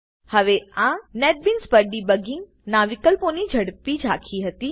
હવે આ નેટબીન્સ પર ડિબગિંગ ના વિકલ્પોની ઝડપી ઝાંખી હતી